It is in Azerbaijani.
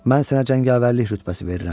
Mən sənə cəngavərlik rütbəsi verirəm.